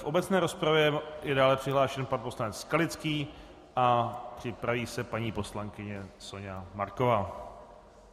V obecné rozpravě je dále přihlášen pan poslanec Skalický a připraví se paní poslankyně Soňa Marková.